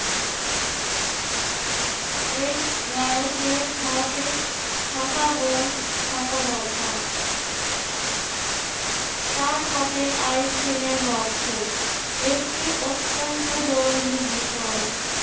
এই বয়সে হাতে খাতা বই থাকা দরকার। তার হাতে আইসক্রিমের বাক্স, একটি অত্যন্ত জরুরি বিষয়